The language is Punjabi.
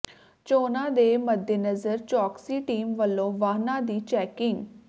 ਚੋਣਾਂ ਦੇ ਮੱਦੇਨਜ਼ਰ ਚੌਕਸੀ ਟੀਮ ਵੱਲੋਂ ਵਾਹਨਾਂ ਦੀ ਚੈਕਿੰਗ